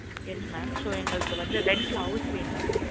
Yes mam so எங்களுக்கு வந்து rent ல house வேணும்